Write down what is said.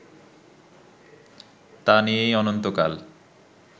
তা নিয়েই অনন্তকাল